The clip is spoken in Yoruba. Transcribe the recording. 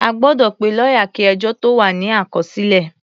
A gbọ́dọ̀ pe lọ́yà kí ẹjọ́ tó wà ní àkọsílẹ̀.